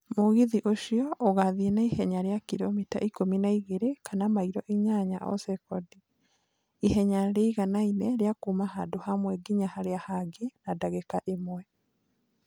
Mũgithi ũcio ũgaathiĩ na ihenya rĩa kilomita ikũmi na igĩrĩ kana mairo inyanya o sekondi, ihenya rĩiganaine rĩa kuuma handũ hamwe nginya harĩa hangĩ na ndagĩka ĩmwe.